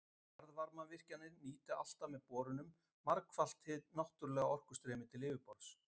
Jarðvarmavirkjanir nýta alltaf með borunum margfalt hið náttúrlega orkustreymi til yfirborðs.